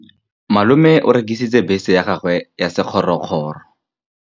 Malome o rekisitse bese ya gagwe ya sekgorokgoro.